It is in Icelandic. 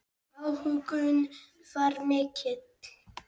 Áhuginn var mikill.